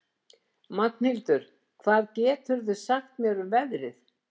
Magnhildur, hvað geturðu sagt mér um veðrið?